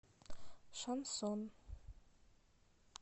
шансон